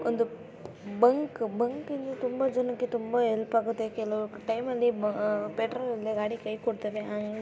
ಒಂದು ಬಂಕ್‌ ಬಂಕ್‌ನಿಂದ ತುಂಬಾ ಜನಕ್ಕೆ ತುಂಬಾ ಹೆಲ್ಪ್‌ ಆಗುತ್ತೆ ಕೆಲವು ಟೈಂನಲ್ಲಿ ಬ ಅಹ್ ಪೆಟ್ರೋಲ್ ಇಲ್ಲದೆ ಗಾಡಿ ಕೈ ಕೊಡುತ್ತವೆ.